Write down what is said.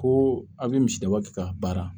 Ko aw bɛ misidaba kɛ ka baara